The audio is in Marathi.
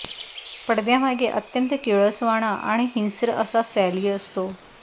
पडद्यामागे अत्यंत किळसवाणा आणि हिंस्र असा सॅली असतो